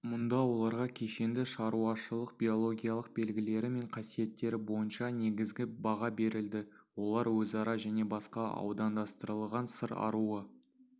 мұнда оларға кешенді шаруашылықбиологиялық белгілері мен қасиеттері бойынша негізгі баға берілді олар өзара және басқа аудандастырылған сыр аруы